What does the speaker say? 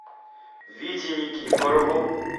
вите никифорову